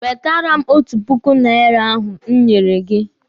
Wetere m otu puku naira ahụ m nyere gị!